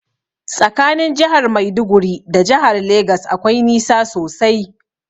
Tsakanin jahar maiduguri da jahar legas akwai nisa sosai.